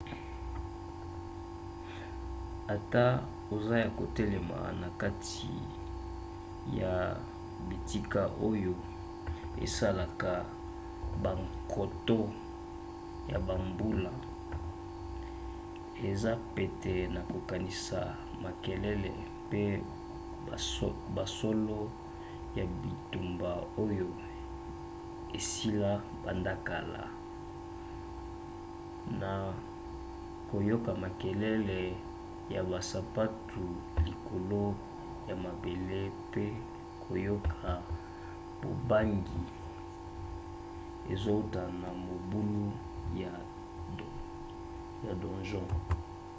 ata oza ya kotelema na kati ya bitika oyo esalaka bankoto ya bambula eza pete na kokanisa makelele pe basolo ya bitumba oyo esila banda kala na koyoka makelele ya basapatu likolo ya mabele mpe koyoka bobangi ezouta na mabulu ya donjon